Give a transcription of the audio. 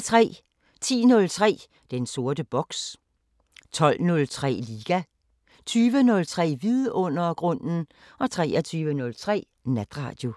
10:03: Den sorte boks 12:03: Liga 20:03: Vidundergrunden 23:03: Natradio